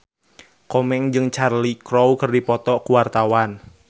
Komeng jeung Cheryl Crow keur dipoto ku wartawan